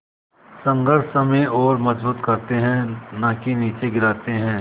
संघर्ष हमें और मजबूत करते हैं नाकि निचे गिराते हैं